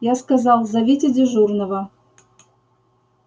я сказал зовите дежурного